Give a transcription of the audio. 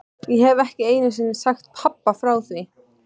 Ég hef ekki einu sinni sagt pabba frá því.